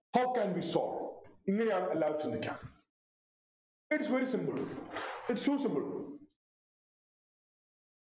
how can we solve ഇങ്ങനെയാണ് എല്ലാരും ചിന്തിക്ക Its very simple its so simple